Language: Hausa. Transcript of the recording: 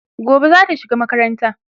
gobe zata shiga makaranta